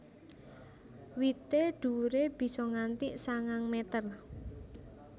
Wité dhuwuré bisa nganti sangang meter